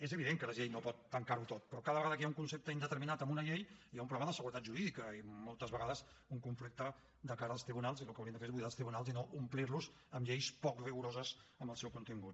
és evident que la llei no pot tancar ho tot però cada vegada que hi ha un concepte indeterminat en una llei hi ha un problema d’inseguretat jurídica i moltes vegades un conflicte de cara als tribunals i el que hauríem de fer és buidar els tribunals i no omplir los amb lleis poc rigoroses en el seu contingut